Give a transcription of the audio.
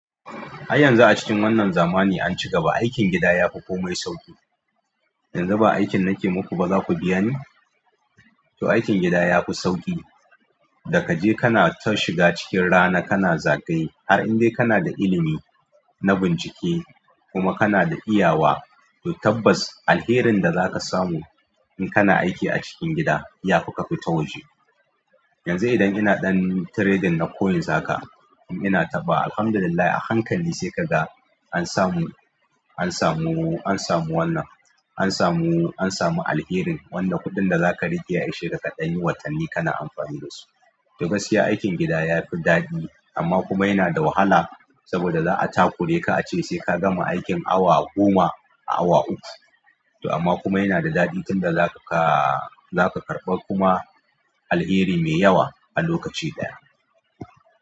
Har yanzu a cikin wannan zamani an ci gaba, aikin gida ya fi komai sauƙi. Yanzu ba aikin nake muku ba za ku biya ni? To aikin gida ya fi sauƙi. Da kaje kana ta shiga cikin rana kana zagaye har indai kana da ilimi na bincike kuma kana da iyawa. To tabbas alherin da za ka samu in kana aiki a cikin gida ya fi ka fita waje. Yanzu idan ina ɗan trading na coins haka in ina taɓa, Alhamdulillah a hankali sai ka ga an samu, an samu, an samu wannan, an samu, an samu alherin wanda kuɗin da za ka riƙe ya ishe ka ɗanyi watanni kana amfani da su. To gaskiya aikin gida ya fi daɗi amma kuma yana da wahala saboda za a takure ka ace sai ka gama aikin awa goma a awa uku. To amma kuma yana da daɗi tunda za ka karɓa kuma alheri me yawa a lokaci ɗaya.